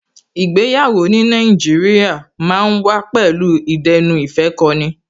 Ìgbéyàwó ní Nàìjíríà ma ń wà pẹ̀lú ìdẹ́nuìfẹ́kọni